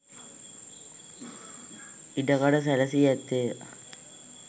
ඉඩ කඩ සැලැසී ඇත්තේය.